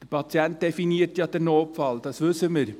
Der Patient definiert ja den Notfall, dies wissen wir.